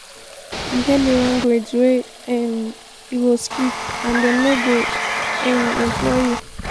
e get di language wey um you go speak and dem no go um employ you.